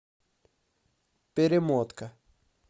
перемотка